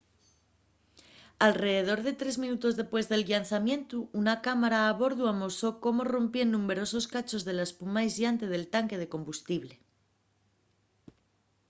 alredor de tres minutos dempués del llanzamientu una cámara a bordu amosó cómo rompíen numberosos cachos de la espuma aisllante del tanque de combustible